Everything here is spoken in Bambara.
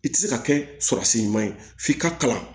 I tɛ se ka kɛ surasi ɲuman ye f'i ka kalan